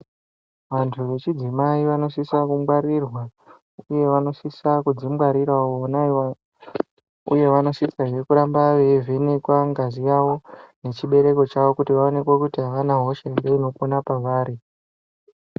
Vanthu vechidzimai vanosisa kungwarirwa uye vanosisa kudzingwarirawo vona avavo uye vanosisa kuramba veivhenekwa ngazi yavo nechibereko chavo kuti vaoneke kuti avana hosha ere inopona pevari.